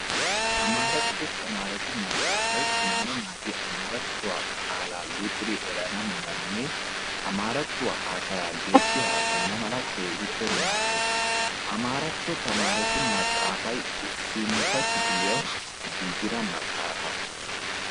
Amaaratto tamaare naatu maxaafay tamaareti amaarattuwa luxidi erana malanne amaarattuwa haasayaa geeshshi haasayana mala keehippe maaddees. Amaaratto tamaaretu maxaafay issintta kifiliyawu giigida maxaafa.